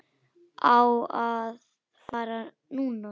Á að fara núna.